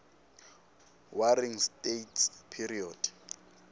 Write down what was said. warring states period